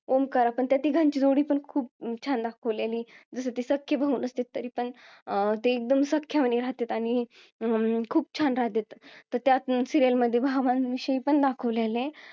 ओमकार त्या तिघांची जोडी पण खूप छान दाखवलेली जसं की ते सख्खे भाऊ नसते तरी पण ते एकदम सख्या वाणी राहतेत आणि अं खूप छान राहतेत तर त्या serial मध्ये भावांविषयी पण दाखवलेला आहे